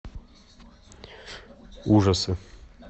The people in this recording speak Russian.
ужасы